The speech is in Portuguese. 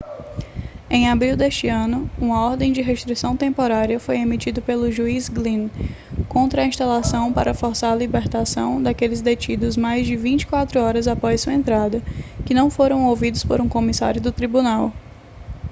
em abril deste ano uma ordem de restrição temporária foi emitida pelo juiz glynn contra a instalação para forçar a libertação daqueles detidos mais de 24 horas após sua entrada que não foram ouvidos por um comissário do tribunal